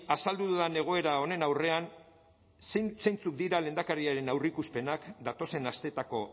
azaldu dudan egoera honen aurrean zeintzuk dira lehendakariaren aurreikuspenak datozen asteetako